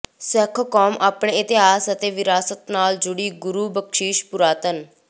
ਸਿੱਖ ਕੌਮ ਅਪਣੇ ਇਤਿਹਾਸ ਅਤੇ ਵਿਰਾਸਤ ਨਾਲ ਜੁੜੀ ਗੁਰੂ ਬਖ਼ਸ਼ਿਸ਼ ਪੁਰਾਤਨ